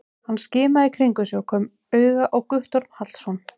Hann skimaði í kringum sig og kom auga á Guttorm Hallsson.